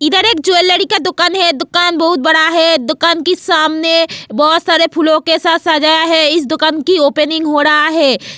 इधर एक ज्वेलरी का दुकान है दुकान बहुत बड़ा है दुकान की सामने बहुत सारे फूलों के साथ सजाया है इस दुकान की ओपनिंग हो रहा है.